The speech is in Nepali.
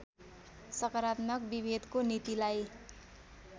सकारात्मक विभेदको नीतिलाई